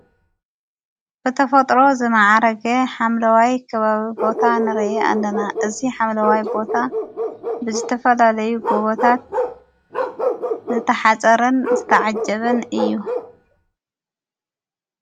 በተ ፈጥሮ ዝመዓረገ ሓምለዋይ ክባዊ ቦታ ንረየ ኣለና እዝ ሓምለዋይ ቦታ ብዝተፈላለዩ ጐቦታት ዘተሓጸርን ዘተዓጀብን እዩ።